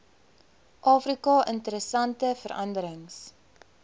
afrika interessante veranderings